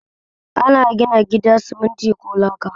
Ana gina gida simitin ko laka